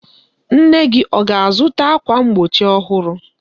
Nne gị ọ ga-azụta ákwà mgbochi ọhụrụ?